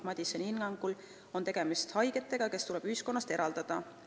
Tema hinnangul on tegemist haigetega, kes tuleb ühiskonnast eraldada.